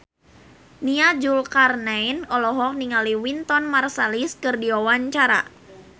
Nia Zulkarnaen olohok ningali Wynton Marsalis keur diwawancara